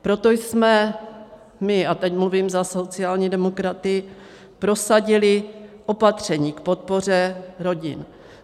Proto jsme my, a teď mluvím za sociální demokraty, prosadili opatření k podpoře rodin.